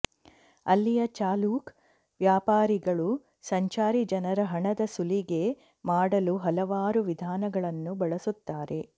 ಅಲ್ಲಿಯ ಚಾಲೂಕ್ ವ್ಯಾಪಾರಿಗಳು ಸಂಚಾರಿ ಜನರ ಹಣದ ಸುಲಿಗೆ ಮಾಡಲು ಹಲವಾರು ವಿಧಾನಗಳನ್ನು ಬಳಸುತ್ತಾರೆ